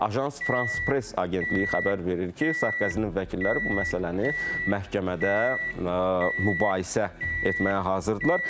Agence France-Presse agentliyi xəbər verir ki, Sarkozinin vəkilləri bu məsələni məhkəmədə mübahisə etməyə hazırdırlar.